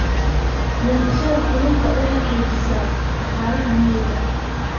Beerashada kalluunku waxay xoojisaa dhaqaalaha miyiga.